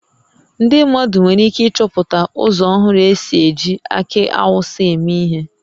Ndị mmadụ nwere ike ịchọpụta ụzọ ọhụrụ e si eji akị Awụsa eme ihe